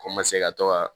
O ma se ka to ka